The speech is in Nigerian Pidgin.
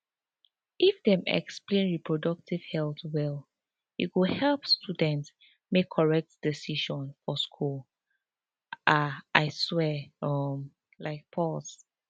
if dem explain reproductive health well e go help students make correct decision for school ah i swear um like pause